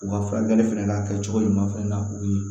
U ka furakɛli fɛnɛ n'a kɛcogo ɲuman fɛnɛ na o ye